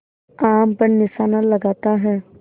आम पर निशाना लगाता है